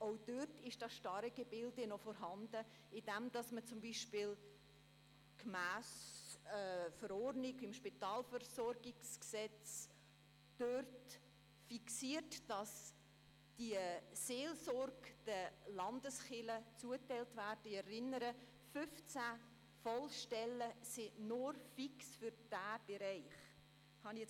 So ist zum Beispiel gemäss Spitalversorgungsverordnung (SpVV) festgelegt, dass die Seelsorge den Landeskirchen zugeteilt wird – ich erinnere: 15 Vollzeitstellen sind fix für nur diesen Bereich vorgesehen.